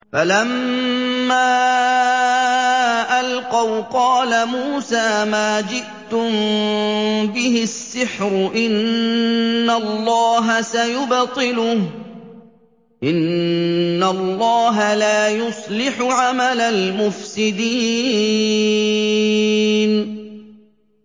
فَلَمَّا أَلْقَوْا قَالَ مُوسَىٰ مَا جِئْتُم بِهِ السِّحْرُ ۖ إِنَّ اللَّهَ سَيُبْطِلُهُ ۖ إِنَّ اللَّهَ لَا يُصْلِحُ عَمَلَ الْمُفْسِدِينَ